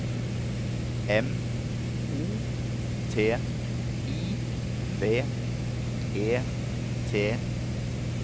M O T I V E T